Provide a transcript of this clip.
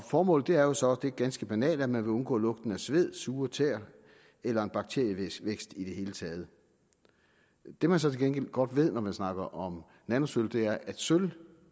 formålet er jo så det ganske banale at man vil undgå lugten af sved og sure tæer eller en bakterievækst i det hele taget det man så til gengæld godt ved når man snakker om nanosølv er at sølv